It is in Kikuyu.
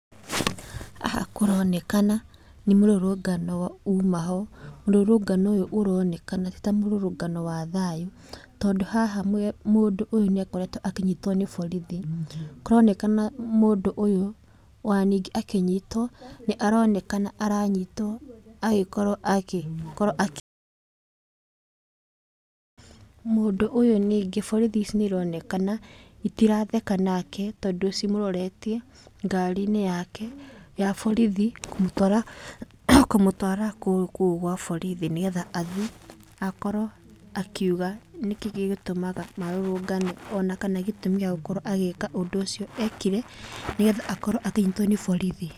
Haha kũronekana nĩ mũrũrũngano umaho, mũrũrũngano ũyũ ũronekana tita mũrũrũngano wa thayũ. Tondũ haha mũndũ ũyũ nĩ akoretwo akĩnyitwo nĩ borithi, kũronekana mũndũ ũyũ ona ningĩ akĩnyitwo aronekana aranyitwo agĩkorwo akĩ. Mũndũ ũyũ ningĩ borithi ici nĩ cironekana itiratheka nake tondũ cimũroretie ngari-inĩ yake ya borithi kũmũtwara kũu gwa borithi nĩ getha athiĩ akorwo akiuga nĩ kĩĩ gĩgũtũmaga marũrũngane. Ona kana gĩtũmi gĩa gũkorwo agĩka ũndũ ũcio ekire nĩ getha akorwo akĩnyitwo nĩ borithi.